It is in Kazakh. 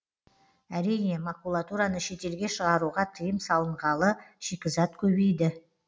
әрине макулатураны шетелге шығаруға тыйым салынғалы шикізат көбейді